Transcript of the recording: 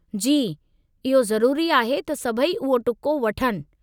जी, इहो ज़रूरी आहे त सभई उहो टुको वठनि।